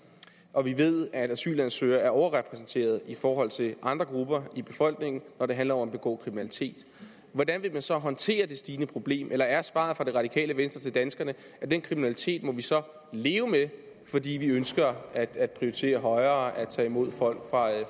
og vi ved at asylansøgere er overrepræsenteret i forhold til andre grupper i befolkningen når det handler om at begå kriminalitet hvordan vil man så håndtere det stigende problem eller er svaret fra det radikale venstre til danskerne at den kriminalitet må vi så leve med fordi vi ønsker at at prioritere højere at tage imod folk